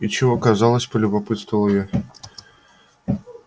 и чего оказалось полюбопытствовала я